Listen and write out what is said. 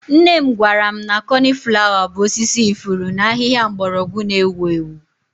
Nne m gwara m na coniflawa bụ osisi ifuru na ahịhịa mgbọrọgwụ na-ewu ewu.